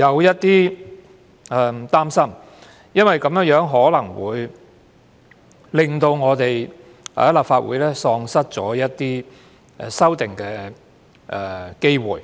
到有點擔心，因為這樣可能會令立法會喪失修訂的機會。